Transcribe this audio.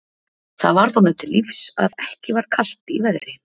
Það varð honum til lífs að ekki var kalt í veðri.